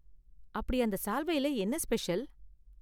அப்படி அந்த சால்வைல என்ன ஸ்பெஷல்?